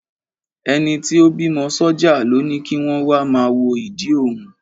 Ẹni tí ó bímọ sọ́jà ló ni kí wọn wá máa wo ìdí òun.